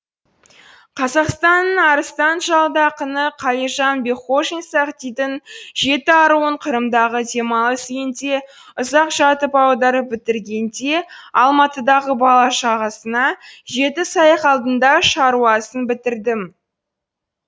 қазақстан арыстан жалды ақыны қалижан бекхожин сағдидың жеті аруын қырымдағы демалыс үйінде ұзақ жатып аударып бітіргенде алматыдағы бала шағасына жеті сайқалдың да шаруасын бітірдім